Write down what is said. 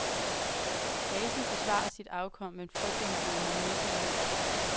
Gasen forsvarer sit afkom med frygtindgydende nidkærhed.